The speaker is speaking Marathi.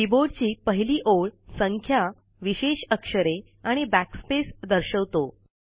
कीबोर्डची पहिली ओळ संख्या विशेष अक्षरे आणि backspace दर्शवतो